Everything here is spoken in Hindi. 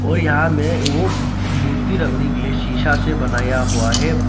और यहां में ओ मूर्ति रखने के लिए शीशा से बनाया हुआ है।